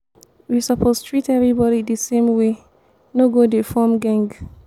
we suppose treat everybody de same way no go dey form geng.